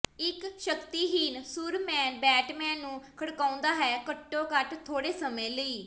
ਇੱਕ ਸ਼ਕਤੀਹੀਣ Superman Batman ਨੂੰ ਖੜਕਾਉਂਦਾ ਹੈ ਘੱਟੋ ਘੱਟ ਥੋੜੇ ਸਮੇਂ ਲਈ